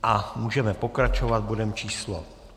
A můžeme pokračovat bodem číslo